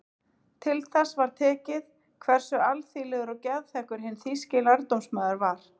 Til þess var tekið hversu alþýðlegur og geðþekkur hinn þýski lærdómsmaður var.